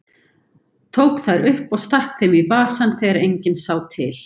Tók þær upp og stakk þeim í vasann þegar enginn sá til.